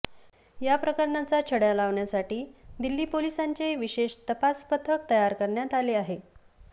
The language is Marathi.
या प्रकरणाचा छडा लावण्यासाठी दिल्ली पोलिसांचे विशेष तपास पथक तयार करण्यात आले आहे